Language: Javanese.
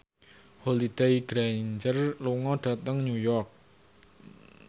Holliday Grainger lunga dhateng New York